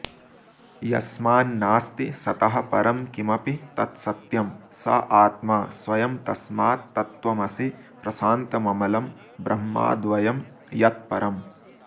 यस्मान्नास्ति सतः परं किमपि तत्सत्यं स आत्मा स्वयं तस्मात्तत्त्वमसि प्रशान्तममलं ब्रह्माद्वयं यत्परम्